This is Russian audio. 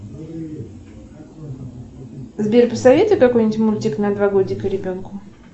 сбер посоветуй какой нибудь мультик на два годика ребенку